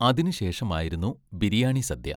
അതിനുശേഷമായിരുന്നു biryani സദ്യ.